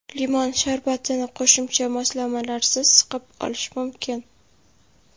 Limon sharbatini qo‘shimcha moslamalarsiz siqib olish mumkin.